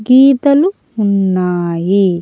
గీతలు ఉన్నాయి.